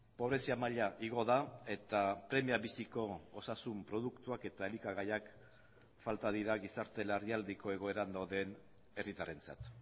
pobrezia maila igo da eta premia biziko osasun produktuak eta elikagaiak falta dira gizarte larrialdiko egoeran dauden herritarrentzat